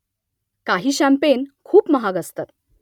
काही शॅंपेन खूप महाग असतात